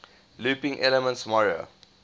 looping elements mario